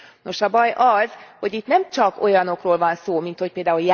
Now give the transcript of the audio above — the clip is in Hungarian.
Nos, a baj az, hogy itt nem csak olyanokról van szó, mint, hogy pl.